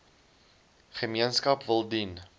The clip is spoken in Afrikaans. gemeenskap wil dien